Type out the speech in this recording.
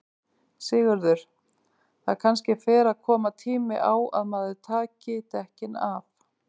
Sigurður: Það kannski fer að koma tími á að maður taki dekkin af?